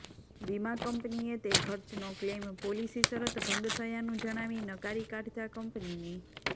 વીમા કંપનીએ તે ખર્ચનો ક્લેઇમ પોલીસી શરત ભંગ થયાનું જણાવી નકારી કાઢતા કંપનીની